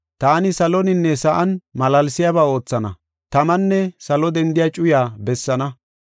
Taani saloninne sa7an malaalsiyaba oothana, tamanne salo dendiya cuyaa bessaana.